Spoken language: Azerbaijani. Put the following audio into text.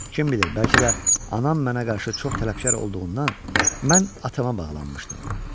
Kim bilir, bəlkə də anam mənə qarşı çox tələbkar olduğundan, mən atama bağlanmışdım.